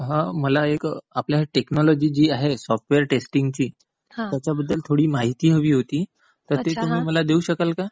हां. मला आपली एक जी टेकनॉलॉजी जी आहे सॉफ्टवेअर टेस्टिंगची त्याच्याबद्दल थोडी माहिती हवी होती, तर ती तुम्ही मला देऊ शकाल का?